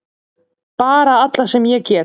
Bara alla sem ég get!